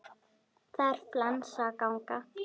Það er flensa að ganga.